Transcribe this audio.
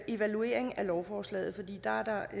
evaluering af lovforslaget fordi der